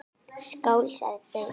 Skál, sagði Bill.